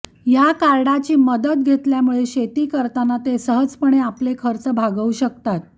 या कार्डची मदत घेतल्यामुळे शेती करताना ते सहजपणे आपले खर्च भागवू शकतात